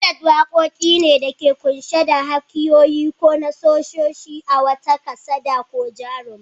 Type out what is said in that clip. Ballad waqoqi ne da ke qunshe da hikayoyi ko nassoshi na wata kasada ko jaruma.